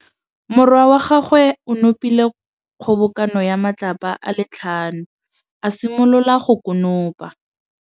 Morwa wa gagwe o nopile kgobokanô ya matlapa a le tlhano, a simolola go konopa.